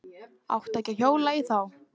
Átti ekki að hjóla í þá.